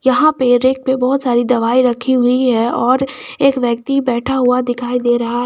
यहां पे रेक पे बहोत सारी दवाई रखी हुई है और एक व्यक्ति बैठा हुआ दिखाई दे रहा है।